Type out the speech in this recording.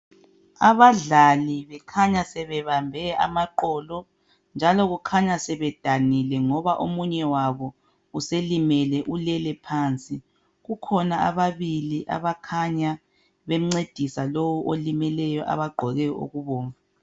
Abadlali kukhanya sebebambe amaqolo njalo kukhanya sebedanile ngoba omunye wabo uselimele ulele phansi kukhona ababili abakhanya bemngcedisa lowo olimeleyo abagqoke okubomvu